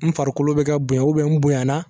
N farikolo bɛ ka bonya n bonyana